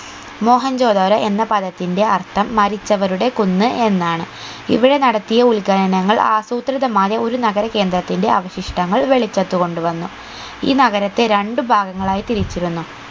മോഹൻജൊ ദാരോ എന്ന പദത്തിന്റെ അർഥം മരിച്ചവരുടെ കുന്ന് എന്നാണ് ഇവിടെ നടത്തിയ ഉൽഖനങ്ങൾ ആസൂത്രിതമായ ഒരു നഗര കേന്ദ്രത്തിന്റെ അവശിഷ്ട്ടങ്ങൾ വെളിച്ചത്ത് കൊണ്ട് വന്നു ഈ നഗരത്തെ രണ്ട് ഭാഗങ്ങളായി തിരിച്ചിരുന്നു